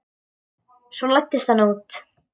Svo læddist hann út.